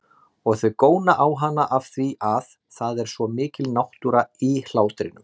Og þau góna á hana afþvíað það er svo mikil náttúra í hlátrinum.